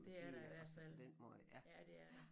Det er der i hvert fald ja det er der